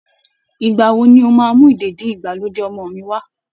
Ìgbà wo ni o máa mú ìdèdí-ìgbàlódé ọmọ mi wá?